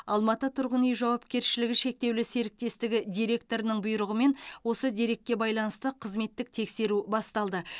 алматы тұрғын үй жауапкершілігі шектеулі серіктестігі директорының бұйрығымен осы дерекке байланысты қызметтік тексеру басталды